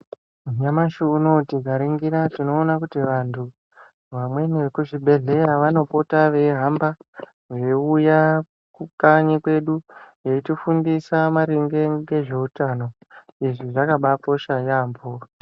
Nyamashi unowu tikaringira tinoona kuti vantu vamweni vekuzvibhedhlera vanopota veihamba veiuya kukanyi kwedi veitifundisa maringe ngezveutano izvi zvakabakosha yambo.